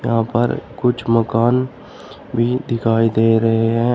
यहां पर कुछ मकान भी दिखाई दे रहे हैं।